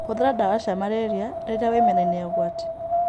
Hũthĩra ndawa cia Marĩria rĩrĩa wĩ mĩena-inĩ ya ũgwati